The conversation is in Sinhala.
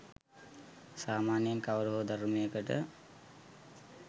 සාමාන්‍යයෙන් කවර හෝ ධර්මයකට